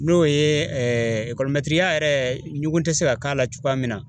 N'o ye ekɔlimɛtiriya yɛrɛ ɲugun tɛ se ka k'a la cogoya min na.